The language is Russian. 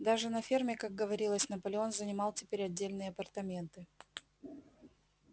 даже на ферме как говорилось наполеон занимал теперь отдельные апартаменты